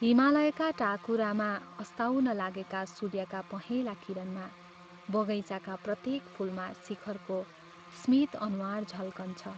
हिमालयका टाकुरामा, अस्ताउन लागेका सूर्य्यका पहला किरणमा, बगैंचाका प्रत्येक फूलमा शेखरको स्मित अनुहार झल्कन्छ।